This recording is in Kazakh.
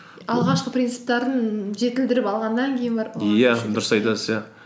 алғашқы принциптерін жетілдіріп алғаннан кейін барып дұрыс айтасыз иә